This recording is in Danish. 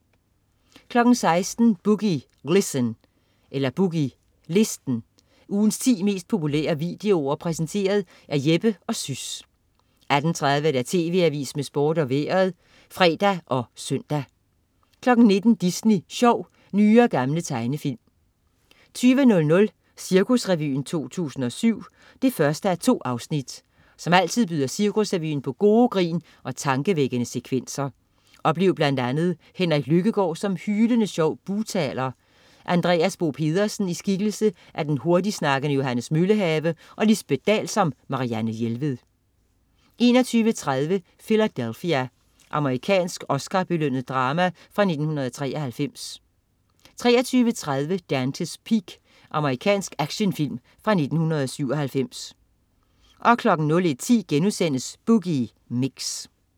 16.00 Boogie Listen. Ugens ti mest populære videoer præsenteret af Jeppe & Sys 18.30 TV Avisen med Sport og Vejret (fre og søn) 19.00 Disney Sjov. Nye og gamle tegnefilm 20.00 Cirkusrevyen 2007 1:2. Som altid byder Cirkusrevyen på gode grin og tankevækkende sekvenser. Oplev blandt andet Henrik Lykkegaard, som hylende sjov bugtaler, Andreas Bo Pedersen i skikkelse af den hurtigsnakkende Johannes Møllehave og Lisbeth Dahl som Marianne Jelved 21.30 Philadelphia. Amerikansk Oscarbelønnet drama fra 1993 23.30 Dante's Peak. Amerikansk actionfilm fra 1997 01.10 Boogie Mix*